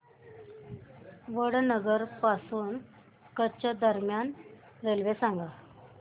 वडनगर पासून कच्छ दरम्यान रेल्वे सांगा